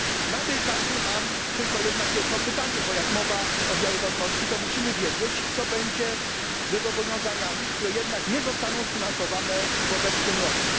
Na tej kanwie mam tylko jedno pytanie, bo gdy mowa o wiarygodności, to musimy wiedzieć, co będzie ze zobowiązaniami, które nie zostaną sfinansowane w obecnym roku.